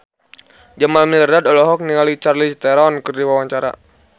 Jamal Mirdad olohok ningali Charlize Theron keur diwawancara